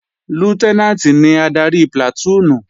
Lútẹ́nàǹtì ni adarí plàtúùnù